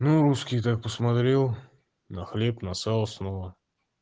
ну русский так посмотрел на хлеб на сало сново